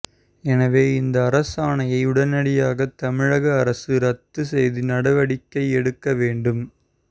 எனவே இந்த அரசாணையை உடனடியாக தமிழக அரசு ரத்து செய்து நடவடிக்கை எடுக்க வேண்டும்